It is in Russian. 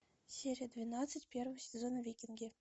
серия двенадцать первый сезон викинги